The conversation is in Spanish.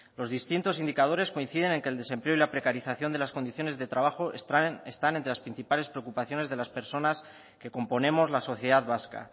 los distintos indicadores coinciden en que el desempleo y la precarización de las condiciones de trabajo están entre las principales preocupaciones de las personas que componemos la sociedad vasca